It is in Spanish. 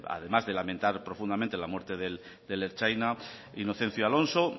además de lamentar profundamente la muerte del ertzaina inocencio alonso